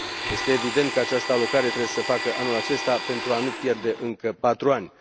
Este evident că această alocare trebuie să se facă anul acesta pentru a nu pierde încă patru ani.